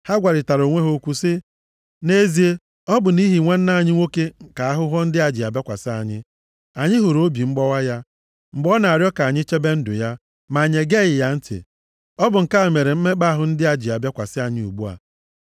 Ha gwarịtara onwe ha okwu sị, “Nʼezie, ọ bụ nʼihi nwanne anyị nwoke ka ahụhụ ndị a ji abịakwasị anyị. Anyị hụrụ obi mgbawa ya, mgbe ọ na-arịọ ka anyị chebe ndụ ya, ma anyị egeghị ya ntị. Ọ bụ nke a mere mmekpa ahụ ndị a ji bịakwasị anyị ugbu a.”